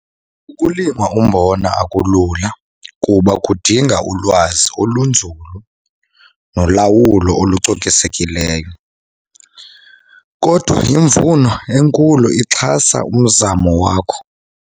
Ukulima umbona akulula kuba kudinga ulwazi olunzulu nolawulo olucokisekileyo. Kodwa imvuno enkulu ixhasa umzamo wakho.